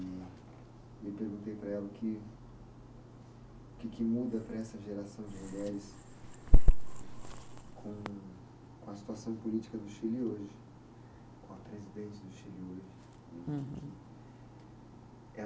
E e eu perguntei para ela o que, que que muda para essa geração de mulheres com com a situação política do Chile hoje, com a presidente do Chile hoje.